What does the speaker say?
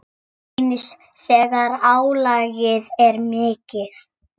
Eins þegar álagið er mikið.